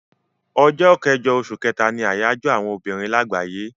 Ọjọ́ kẹjọ oṣù kẹ́ta ni àyájọ́ àwọn obìnrin àgbáyé.